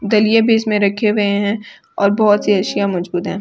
दलिया भी इसमे रखे हुए है और बहुत सी अर्शियाँ मौजूद है।